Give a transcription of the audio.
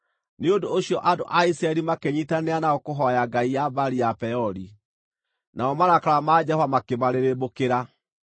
Nĩ ũndũ ũcio andũ a Isiraeli makĩnyiitanĩra nao kũhooya ngai ya Baali ya Peori. Namo marakara ma Jehova makĩmarĩrĩmbũkĩra.